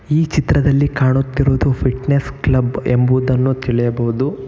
ಈ ಚಿತ್ರದಲ್ಲಿ ಕಾಣುತ್ತಿರುವುದು ಫಿಟ್ನೆಸ್ ಕ್ಲಬ್ ಎಂಬುದನ್ನು ತಿಳಿಯಬಹುದು.